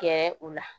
Gɛrɛ u la